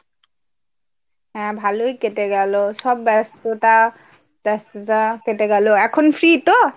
হ্যাঁ ভালোই কেটে গেলো সব ব্যস্ততা ব্যস্ততা কেটে গেলো এখন free তো ?